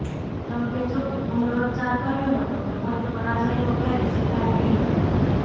ટ્રમ્પે જોકે પુનરોચ્ચાર કર્યો હતો કે પોતે પરાજયનો ક્યારેય સ્વીકાર નહીં કરે